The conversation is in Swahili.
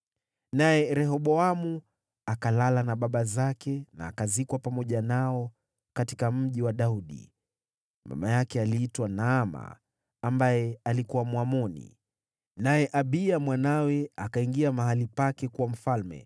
Naye Rehoboamu akalala na baba zake, na akazikwa pamoja nao katika Mji wa Daudi. Mama yake aliitwa Naama, ambaye alikuwa Mwamoni. Naye Abiya mwanawe akawa mfalme baada yake.